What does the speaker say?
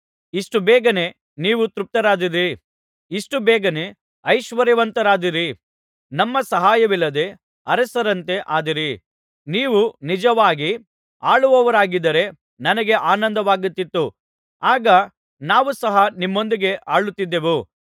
ಇಷ್ಟು ಬೇಗನೆ ನೀವು ತೃಪ್ತರಾದಿರಿ ಇಷ್ಟುಬೇಗನೆ ಐಶ್ವರ್ಯವಂತರಾದಿರಿ ನಮ್ಮ ಸಹಾಯವಿಲ್ಲದೆ ಅರಸರಂತೆ ಆದಿರಿ ನೀವು ನಿಜವಾಗಿ ಆಳುವವರಾಗಿದ್ದರೇ ನನಗೆ ಆನಂದವಾಗುತ್ತಿತ್ತು ಆಗ ನಾವು ಸಹ ನಿಮ್ಮೊಂದಿಗೆ ಆಳುತ್ತಿದ್ದೇವು